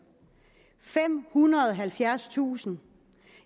femhundrede og halvfjerdstusind